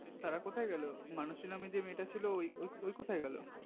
তারা কোথায় গেলো মানসী নামে যে মেয়েটা ছিল ও কোথায় গেলো